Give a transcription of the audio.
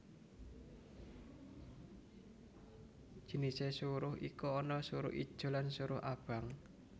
Jinisé suruh iku ana suruh ijo lan suruh abang